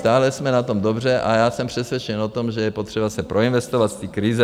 Stále jsme na tom dobře a já jsem přesvědčen o tom, že je potřeba se proinvestovat z té krize.